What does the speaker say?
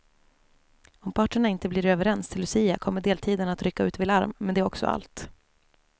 Om parterna inte blir överens till lucia kommer deltidarna att rycka ut vid larm, men det är också allt.